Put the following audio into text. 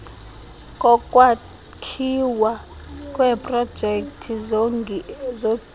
kokwakhiwa kweprojekthi zogesi